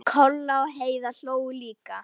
Kolla og Heiða hlógu líka.